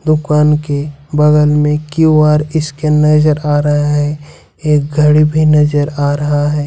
दुकान के बगल में क्यू_आर स्कैन नजर आ रहा है एक घड़ी भी नजर आ रहा है।